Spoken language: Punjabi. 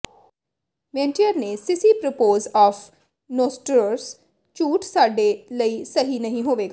ਮੇਨਟੀਅਰ ਨੋ ਸਿਸੀ ਪ੍ਰੋਪੋਜ਼ ਆਫ ਨੋਸੋਟ੍ਰਸ ਝੂਠ ਸਾਡੇ ਲਈ ਸਹੀ ਨਹੀਂ ਹੋਵੇਗਾ